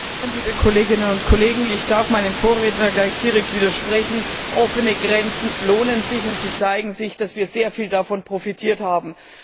Herr Präsident, liebe Kolleginnen und Kollegen! Ich darf meinem Vorredner gleich direkt widersprechen Offene Grenzen lohnen sich, und es zeigt sich, dass wir sehr viel davon profitiert haben.